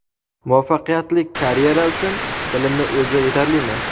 Muvaffaqiyatlik karyera uchun bilimni o‘zi yetarlimi?.